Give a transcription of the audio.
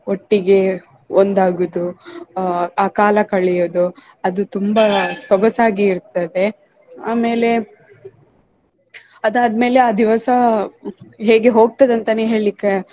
ಒಟ್ಟಿಗೆ ಒಂದಾಗುದು ಆಹ್ ಆ ಕಾಲ ಕಳಿಯೋದು ಅದು ತುಂಬಾ ಸೊಗಸಾಗಿ ಇರ್ತದೆ. ಆಮೇಲೆ ಅದಾದ್ಮೆಲೆ ಆ ದಿವಸ ಹೇಗೆ ಹೋಗ್ತದೆ ಅಂತಾನೆ ಹೇಳ್ಲಿಕೆ